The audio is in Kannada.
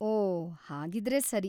ಓಹ್, ಹಾಗಿದ್ರೆ ಸರಿ.